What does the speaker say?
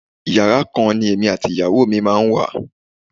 Yàrá kan ni èmi àti ìyàwó mi máa ń wà.